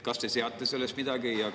Kas te seate sellest midagi?